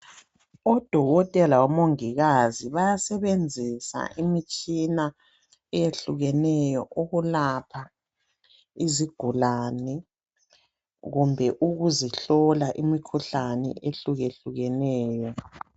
Odokotela labomongikazi bayasebenzisa imitshina eyehlukeneyo ukulapha izigulane kumbe ukuzihlola imkhuhlane ehlukehlukeneyo.